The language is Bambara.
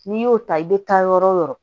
N'i y'o ta i bɛ taa yɔrɔ o yɔrɔ